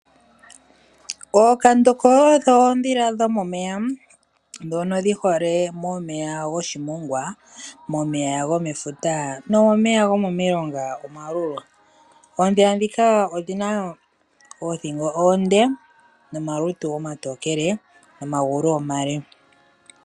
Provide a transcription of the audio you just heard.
Ookandoko odho oondhila dhomomeya ndhono dhi hole momeya goshimongwa. Momeya gomefuta nomomeya gomomilonga omalulu. Oondhila ndhika odhina woo oothingo oonde nomalutu omatookele nomagulu omale.